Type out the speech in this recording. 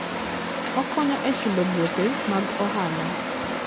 Okonyo e chulo gope mag ohala.